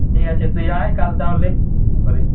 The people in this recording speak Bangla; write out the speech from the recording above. ঠিক আছে কাল তুই আয় তাহলে দু তারিখ